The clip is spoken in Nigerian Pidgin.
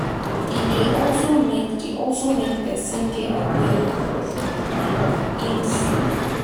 e de also make de also make persin de aware of im self